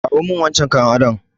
Kawo min wancan kayan adon!